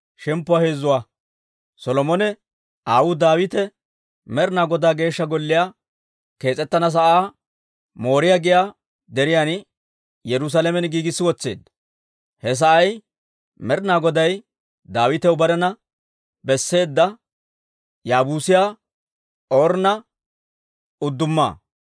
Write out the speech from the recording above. Solomone aawuu Daawite Med'inaa Godaa Geeshsha Gollii kees'ettana sa'aa Mooriyaa giyaa deriyaan Yerusaalamen giigissi wotseedda. He sa'ay Med'inaa Goday Daawitaw barena besseedda, Yaabuusiyaa Ornna udduma.